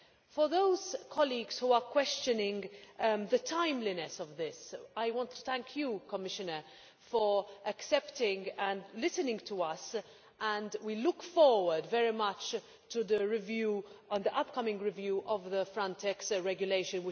For those colleagues who are questioning the timeliness of this, I want to thank you, Commissioner, for accepting and listening to us, and we look forward very much to the upcoming review of the Frontex regulation.